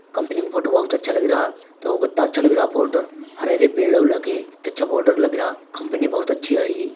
Company का photo बहोत अच्छा लग रहा तो वो कित्ता अच्छा लग रहा फोटो हरे हरे पेड़ू हो लगे कित्ता अच्छा बॉर्डर लग रहा कंपनी बहोत अच्छी हैइ ।